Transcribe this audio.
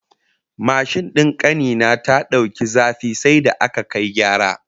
Mashin din kani na ta dauki zafi sai da aka kai gyara